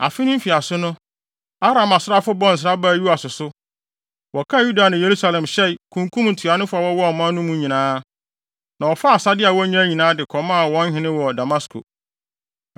Afe no mfiase no, Aram asraafo bɔɔ nsra baa Yoas so. Wɔkaa Yuda ne Yerusalem hyɛe, kunkum ntuanofo a wɔwɔ ɔman no mu nyinaa. Na wɔfaa asade a wonyae nyinaa, de kɔmaa wɔn hene wɔ Damasko.